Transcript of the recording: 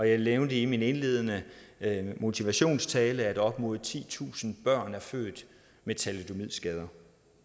jeg nævnte i min indledende motivationstale at op imod titusind børn blev født med thalidomidskader